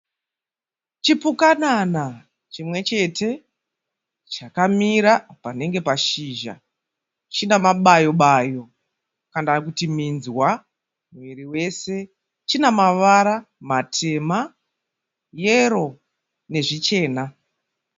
Chipukanana chimwe chete chakamira panenge pashizha. China mabayo bayo kana kuti minzwa muviri wese. China mavara matema, yero nezvichena.